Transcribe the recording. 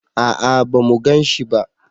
a'a ba mu ganshi ba